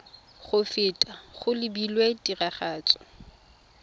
go feta go lebilwe tiragatso